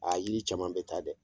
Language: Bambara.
Aa yiri caman bɛ taa dɛ!